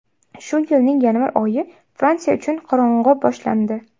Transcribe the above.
Shu yilning yanvar oyi Fransiya uchun qorong‘u boshlandi.